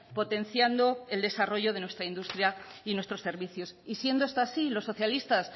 potenciando el desarrollo de nuestra industria y nuestros servicios y siendo esto así los socialistas